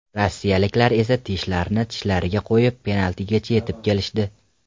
Rossiyaliklar esa tishlarini tishlariga qo‘yib, penaltigacha etib kelishdi.